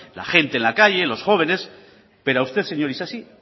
la gente en la calle los jóvenes pero a usted señor isasi